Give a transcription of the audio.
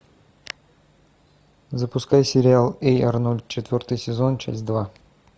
запускай сериал эй арнольд четвертый сезон часть два